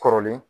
Kɔrɔlen